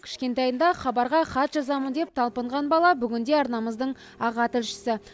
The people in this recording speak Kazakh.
кішкентайында хабарға хат жазамын деп талпынған бала бүгінде арнамыздың аға тілшісі